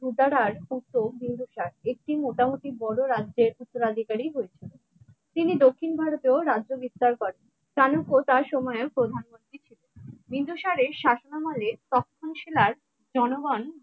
তিনি দক্ষিণ ভারতীয় রাজ্য বিস্তার করেন চাণক্য তার সময়ও প্রধানমন্ত্রী ছিলেন বিন্দুসারের শাসন আলে তখন শিলার জনগণ